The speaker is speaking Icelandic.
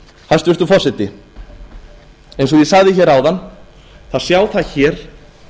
hæstvirtur forseti eins og ég sagði hér áðan það sjá það hér